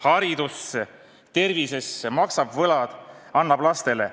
Haridusse, tervisesse, maksab võlad, annab lastele.